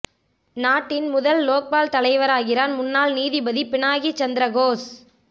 நாட்டின் முதல் லோக்பால் தலைவராகிறார் முன்னாள் நீதிபதி பினாகி சந்திர கோஸ்